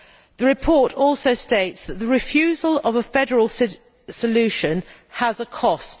The report also states that the refusal of a federal solution has a cost.